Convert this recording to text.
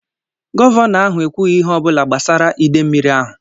Gọvanọ ahụ ekwughị ihe ọ bụla gbasara ide mmiri ahụ